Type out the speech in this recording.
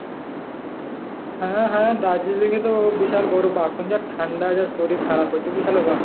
হ্যাঁ, হ্যাঁ, দার্জিলিং এ তো বিশাল বরফ, এখন যা ঠান্ডা যা শরীর খারাপ হয়েছে, বিশালে ব্যাপার।